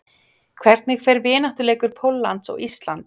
Hvernig fer vináttuleikur Póllands og Íslands?